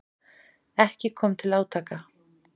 Ekki kom til átaka.